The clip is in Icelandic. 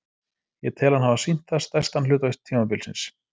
Ég tel hann hafa sýnt það stærstan hluta tímabilsins.